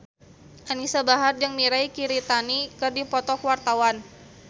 Anisa Bahar jeung Mirei Kiritani keur dipoto ku wartawan